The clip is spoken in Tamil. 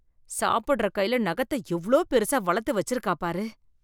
சாப்புடற கையில நெகத்த எவ்ளோ பெருசா வளத்து வச்சிருக்காப் பாரு